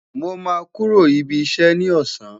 Mo ma kuro ibi iṣẹ ni ọsan